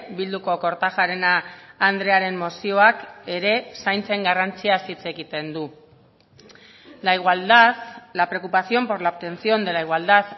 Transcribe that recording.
bilduko kortajarena andrearen mozioak ere zaintzen garrantziaz hitz egiten du la igualdad la preocupación por la obtención de la igualdad